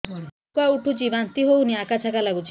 ଉକା ଉଠୁଚି ବାନ୍ତି ହଉନି ଆକାଚାକା ନାଗୁଚି